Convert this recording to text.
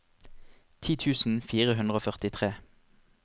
ti tusen fire hundre og førtitre